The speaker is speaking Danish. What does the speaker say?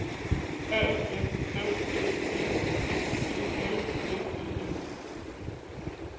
A N F Æ G T E L S E N